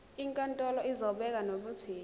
inkantolo izobeka nokuthi